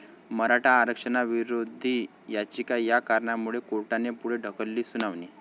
मराठा आरक्षणविरोधी याचिका, 'या' कारणामुळे कोर्टाने पुढे ढकलली सुनावणी